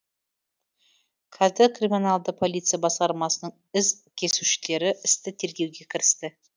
қазір криминалды полиция басқармасының із кесушілері істі тергеуге кірісті